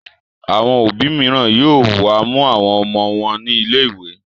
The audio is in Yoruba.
Àwọn òbí mìíràn yóò wá mú àwọn ọmọ wọn nílè ìwé.